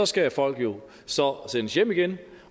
skal folk jo så sendes hjem igen